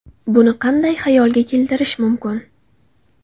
Buni qanday xayolga keltirish mumkin?